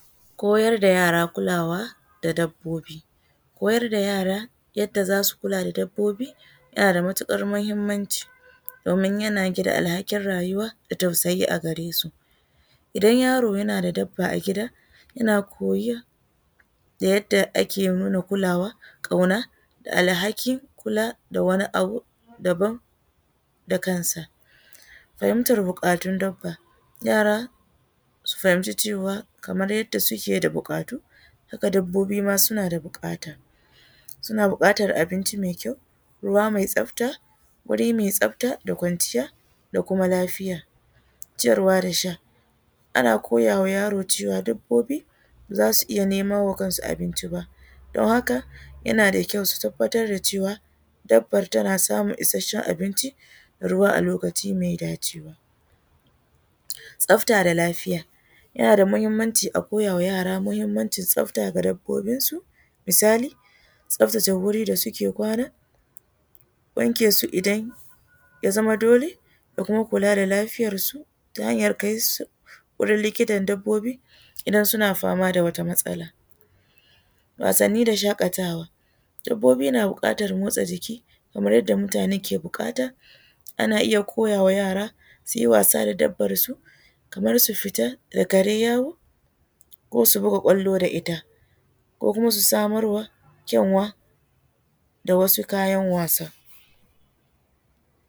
Koyar da yara kulawa da dabbobi, koyar da yara yadda zasu kula da dabbobi yana da matukar muhimmanci domin yana gina alhakin rayuwa da tausayi a garesu, idan yaro yana da dabba a gida yana koya yadda ake nuna kulawa kauna da alhakin kula da wani abu daban da kansa, fahimtar bukatun dabba yara su fahimci cewa kamar yadda suke da bukatu haka babbobi ma suna da bukata suna bukatar abinci mai kyau, ruwa mai tsafta, wuri mai tsafta da kwanciya da kuma lafiya, ciyarwa da sha ana koyawa yaro cewa dabbobi zasu iya nemo ma kansu abinci ba don haka yana da kyau su tabbatar da cewa dabba tana samun isasshen abinci ruwa a lokaci mai dacewa, tsafta da lafiya yana da muhimmanci a koya wa yara muhimmanci tsafta ga dabbobin su misali tsaftace wuri da suke kwana wanke su idan ya zama dole ku ringa kula da lafiyar su ta hanyar kaisu likitan dabbobi idan suna fama da wata matsala, wasanni da shakatawa dabbobi na bukatar motsa jiki kamar yadda mutane ke bukata ana iya koya wa yara suyi wasa da dabban su kamar su fita da kare yawo ko su buga kwalo da ita ko kuma su samar wa kenwa da wasu kayan wasa.